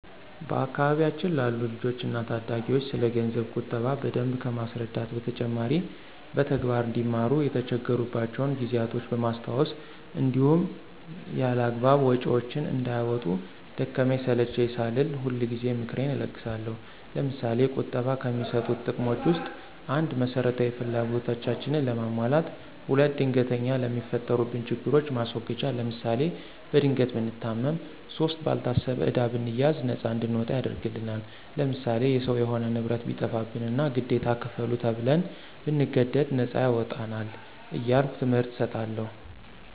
በአካባቢያችን ላሉ ልጆች እና ታዳጊዎች ስለገንዘብ ቁጠባ በደንብ ከማስረዳት በተጨማሪ በተግባር አንዲማሩ የተቸገሩባቸውን ጊዜያቶች በማስታወስ እንዲሁም ያላግባብ ወጭዎችን እንዳያወጡ ደከመኝ ሰለቼኝ ሳልል ሁልጊዜ ምክሬን እለግሳለሁ። ለምሳሌ፦ ቁጠባ ከሚሰጡት ጥቅሞች ውስጥ፦ ፩) መሰረታዊ ፍላጎታችንን ለማሟላት። ፪) ድንገተኛ ለሚፈጠሩብን ችግሮች ማስወገጃ ለምሳሌ፦ በድንገት ብንታመም ፫) ባልታሰበ ዕዳ ብንያዝ ነፃ እንድንወጣ ያደርግናል። ለምሳሌ፦ የሰው የሆነ ንብረት ቢጠፋብንና ግዴታ ክፈሉ ተብን ብንገደድ ነፃ ያወጣናል። እያልሁ ትምህርት እሰጣለሁ።